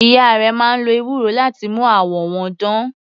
Ìyá rẹ̀ máa ń lo ewúro láti mú àwọ̀ wọn dán.